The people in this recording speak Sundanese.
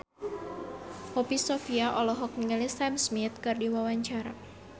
Poppy Sovia olohok ningali Sam Smith keur diwawancara